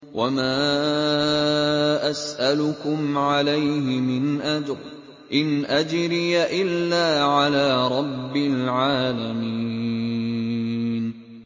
وَمَا أَسْأَلُكُمْ عَلَيْهِ مِنْ أَجْرٍ ۖ إِنْ أَجْرِيَ إِلَّا عَلَىٰ رَبِّ الْعَالَمِينَ